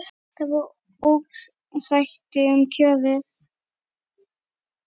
Það var ósætti um kjörin.